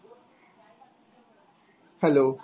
hello.